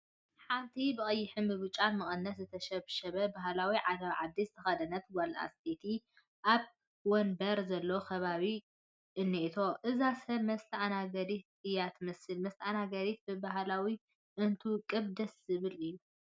ሓንቲ ብቀይሕን ብጫን መቐነት ዝተሸብሸበ ባህላዊ ዓለባ ዓዲ ዝተኸደነት ጓል ኣነስተይቲ ኣብ ወናብር ዘለዎ ከባቢ እኔቶ፡፡ እዛ ሰብ መስተኣናገዲት እያ ትመስል፡፡ መስተኣናገዲ በባህሉ እንትውቅብ ደስ ዝብል እዩ፡፡